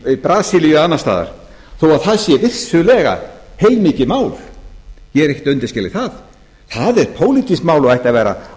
brasilíu eða annars staðar þó að það sé vissulega heilmikið mál ég er ekkert að undanskilja það það er pólitískt mál og ætti að vera